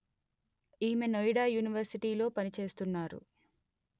ఈమె నోయిడా యూనివర్సిటీలో పనిచేస్తున్నారు